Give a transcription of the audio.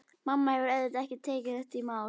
Mamma hefur auðvitað ekki tekið þetta í mál.